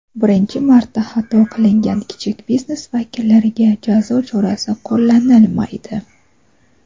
Birinchi marta xato qilgan kichik biznes vakillariga jazo chorasi qo‘llanilmaydi.